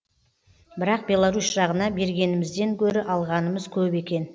бірақ беларусь жағына бергенімізден гөрі алғанымыз көп екен